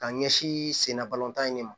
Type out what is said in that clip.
Ka ɲɛsin sen na balɔntan in de ma